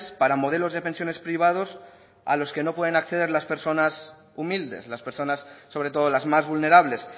para modelos de pensiones privados a los que no pueden acceder las personas humildes las personas sobre todo las más vulnerables